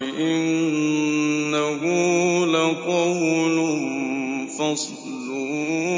إِنَّهُ لَقَوْلٌ فَصْلٌ